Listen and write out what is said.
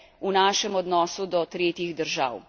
v našem odnosu do tretjih držav.